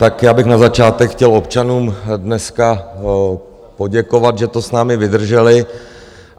Tak já bych na začátek chtěl občanům dneska poděkovat, že to s námi vydrželi.